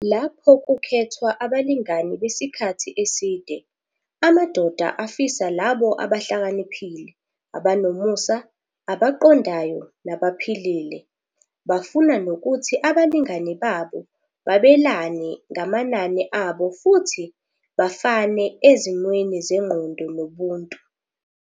Lapho kukhethwa abalingani besikhathi eside, amadoda afisa labo abahlakaniphile, abanomusa, abaqondayo nabaphilile. Bafuna nokuthi abalingani babo babelane ngamanani abo futhi bafane ezimweni zengqondo nobuntu.